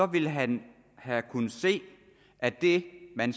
ville han have kunnet se at det man